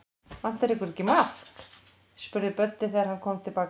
Vantar ykkur ekki maðk? spurði Böddi, þegar hann kom til baka.